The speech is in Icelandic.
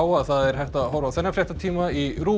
að það er hægt að horfa á þennan fréttatíma í RÚV